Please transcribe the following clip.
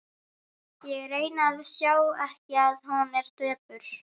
Ég reyni að sjá ekki að hún er döpur.